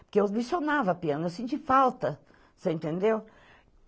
Porque eu licionava piano, eu senti falta, você entendeu?